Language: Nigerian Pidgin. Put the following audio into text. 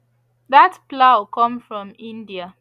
that plough come from india